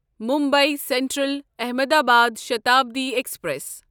Mumbai central Ahmedabad Shatabdi express